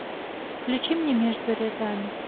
включи мне между рядами